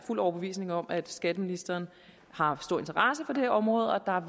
overbevist om at skatteministeren har stor interesse for det her område og